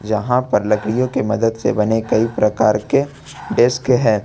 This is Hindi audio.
जहां पर लड़कियों की मदद से बने कई प्रकार के डेस्क है।